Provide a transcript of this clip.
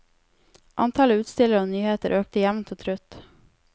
Antallet utstillere og nyheter økte jevnt og trutt.